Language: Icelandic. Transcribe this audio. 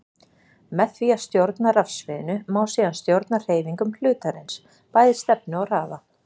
Með því að stjórna rafsviðinu má síðan stjórna hreyfingum hlutarins, bæði stefnu og hraða.